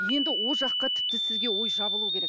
енді ол жаққа тіпті сізге ой жабылуы керек